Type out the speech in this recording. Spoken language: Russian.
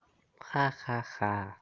ха ха-ха